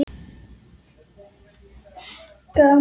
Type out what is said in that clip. Gamlir menn grétu.